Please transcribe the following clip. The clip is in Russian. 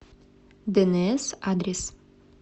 дэнээс адрес